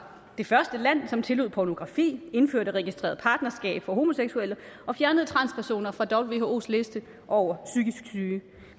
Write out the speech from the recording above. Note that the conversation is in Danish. det første land som tillod pornografi indførte registreret partnerskab for homoseksuelle og fjernede transpersoner fra whos liste over psykisk syge